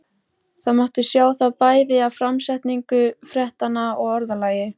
Það mátti sjá það bæði af framsetningu fréttanna og orðalagi.